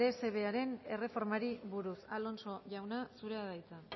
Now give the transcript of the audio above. dsbearen erreformari buruz alonso jauna zurea da hitza